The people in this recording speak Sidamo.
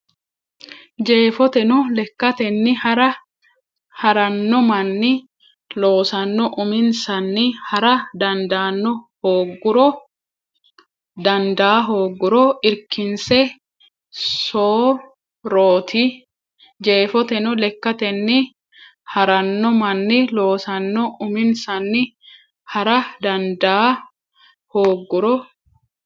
Jeefoteno lekkatenni ha ranno manni loosanno uminsanni ha ra dandaa hoogguro irkinse so rooti Jeefoteno lekkatenni ha ranno manni loosanno uminsanni ha ra dandaa hoogguro.